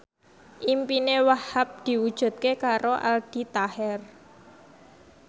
impine Wahhab diwujudke karo Aldi Taher